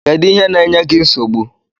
Kedu ihe na-enye gi nsogbu?